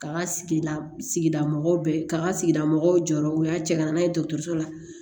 K'a ka sigida sigida mɔgɔw bɛɛ k'a ka sigida mɔgɔw jɔyɔrɔ u y'a cɛ ka na n'a ye dɔgɔtɔrɔso la